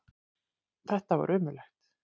Þetta var ömurlegt.